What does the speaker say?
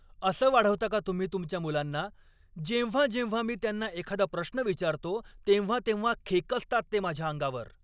असं वाढवता का तुम्ही तुमच्या मुलांना? जेव्हा जेव्हा मी त्यांना एखादा प्रश्न विचारतो, तेव्हा तेव्हा खेकसतात ते माझ्या अंगावर.